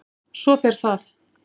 Svo fer það.